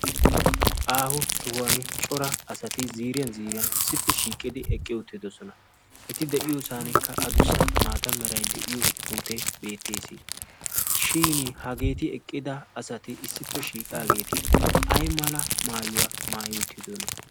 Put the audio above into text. Aaho sohuwaan cora asati ziiriyaan ziiriyaan issippe shiiqqidi eqqi uttidoosona. eti de'iyoo sohuwaankka adussa mata meray de'iyoo puutee beettees. shin hageeti eqqida asati issippe shiiqaagee ay mala maayuwaa maayi uttidonaa.